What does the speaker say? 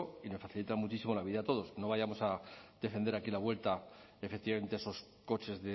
y nos facilita mucho la vida a todos no vayamos a defender aquí la vuelta efectivamente a esos coches